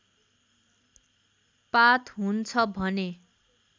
पात हुन्छ भने